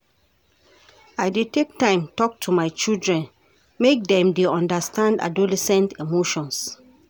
I dey take time tok to my children make dem dey understand adolescent emotions.